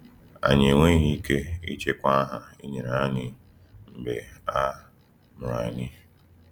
Anyị enweghị ike ịchịkwa aha e nyere anyị mgbe a mụrụ anyị.